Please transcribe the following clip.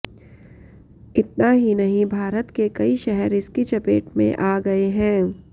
इतना ही नहीं भारत के कई शहर इसकी चपेट में आ गए हैं